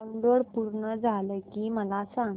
download पूर्ण झालं की मला सांग